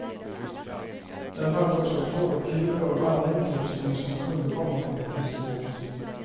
Där fanns också trålkulor och annan utrustning som kunde komma från en fiskebåt.